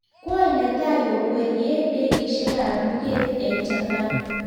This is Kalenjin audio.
Kwony netai kokwerie ndekeisiek ap luget eng japan